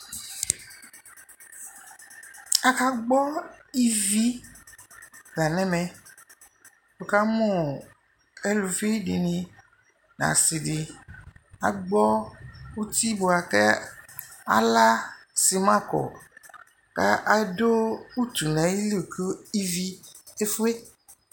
aka gbɔ ivi la nu ɛmɛ wu ka mu eluvi di ni n'asi di agbo uti bua ku ala simã ku adu utu nu iɣili ku ivi efue